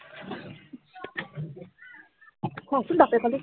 থ চোন বাপেকলে